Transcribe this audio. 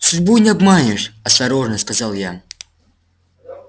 судьбу не обманешь осторожно сказал я